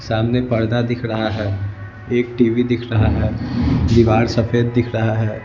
सामने पर्दा दिख रहा है एक टीवी दिख रहा है दीवार सफेद दिख रहा है।